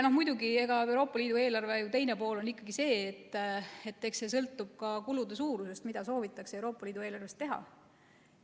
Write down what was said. Muidugi, Euroopa Liidu eelarve teine pool on ikkagi see, et eks see sõltub ka kulude suurusest, mida soovitakse Euroopa Liidu eelarvest teha.